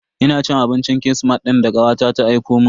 Ina cin abincin kirismas din da kawata ta aikomun.